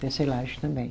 Tecelagem também.